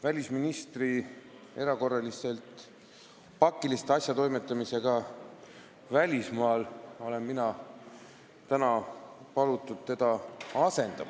Välisministri erakorraliste pakiliste asjatoimetamiste tõttu välismaal olen mina täna palutud teda asendama.